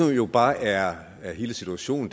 jo bare er er hele situationen